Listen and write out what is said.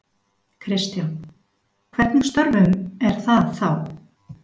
Kristján: Hvernig störfum er það þá?